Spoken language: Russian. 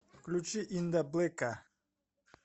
включи индаблэка